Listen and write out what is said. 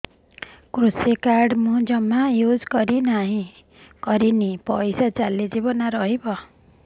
କୃଷି କାର୍ଡ ମୁଁ ଜମା ୟୁଜ଼ କରିନି ପଇସା ଚାଲିଯିବ ନା ରହିବ